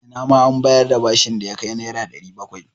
Ina ma an bayar da bashin da ya kai Naira 700.